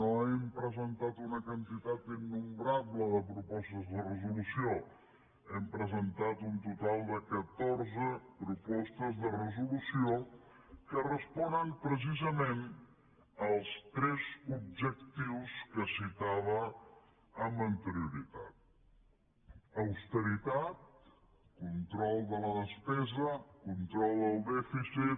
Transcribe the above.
no hem presentat una quantitat innombrable de propostes de resolució hem presentat un total de catorze propostes de resolució que responen precisament als tres objectius que citava amb anterioritat austeritat control de la despesa i control del dèficit